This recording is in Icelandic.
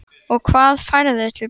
Og hvað færðu til baka?